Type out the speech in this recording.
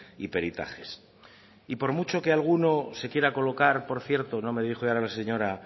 y peritajes y por mucho que alguno se quiera colocar por cierto no me dirijo ya a la señora